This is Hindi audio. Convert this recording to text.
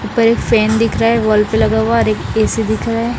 ऊपर एक फैन दिख रहा है वॉल पे लगा हुआ है और एक ए_सी दिख रहा है।